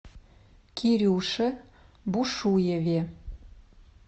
кирюше бушуеве